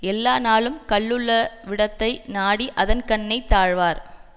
எல்லாநாளும் கள்ளுள்ளவிடத்தை நாடி அதன்கண்ணே தாழ்வார்